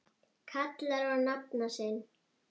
kallar á nafna sinn